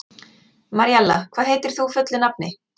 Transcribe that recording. Maríella, hvað heitir þú fullu nafni?